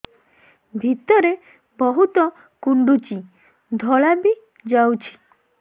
ଭିତରେ ବହୁତ କୁଣ୍ଡୁଚି ଧଳା ବି ଯାଉଛି